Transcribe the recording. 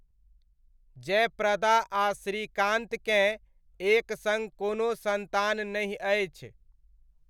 जयप्रदा आ श्रीकान्तकेँ एक सङ्ग कोनो सन्तान नहि अछि।